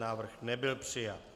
Návrh nebyl přijat.